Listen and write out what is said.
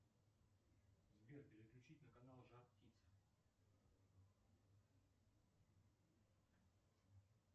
сбер переключить на канал жар птица